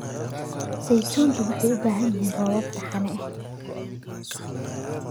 Saytuuntu waxay u baahan yihiin roobab taxane ah.